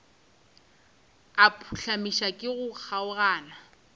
a phuhlamišwa ke go kgaogana